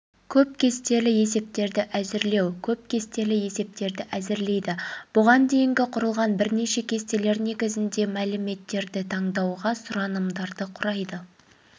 көп кестелі есептерді әзірлеу көп кестелі есептерді әзірлейді бұған дейінгі құрылған бірнеше кестелер негізінде мәліметтерді таңдауға сұранымдарды құрайды